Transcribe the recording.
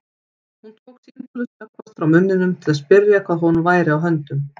Hún tók símtólið snöggvast frá munninum til að spyrja hvað honum væri á höndum.